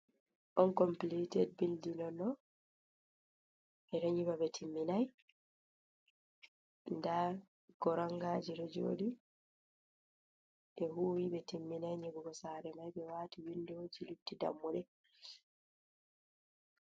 On compilited bildin on ɗo ɓeɗo nyiɓa ɓe timminai, nda koranga je ɗojoɗi, ɓe huwi ɓe timminai nyibugo sare mai be wati windo ji lutti dammuɗe.